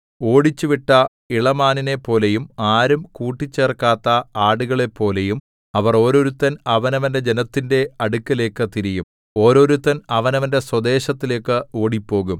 ഓടിച്ചുവിട്ട ഇളമാനിനെപ്പോലെയും ആരും കൂട്ടിച്ചേർക്കാത്ത ആടുകളെപ്പോലെയും അവർ ഓരോരുത്തൻ അവനവന്റെ ജനത്തിന്റെ അടുക്കലേക്ക് തിരിയും ഓരോരുത്തൻ അവനവന്റെ സ്വദേശത്തിലേക്ക് ഓടിപ്പോകും